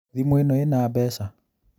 Thimũ ĩno ĩna mbeca